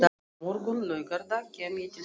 Á morgun, laugardag, kem ég til þín.